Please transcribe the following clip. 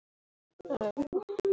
En hver eru einkenni lekanda?